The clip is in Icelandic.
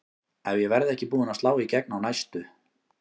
Ef ég verð ekki búin að slá í gegn á næstu